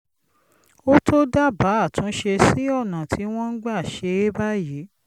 ó tó dábàá àtúnṣe sí ọ̀nà tí wọ́n ń gbà ṣe é báyìí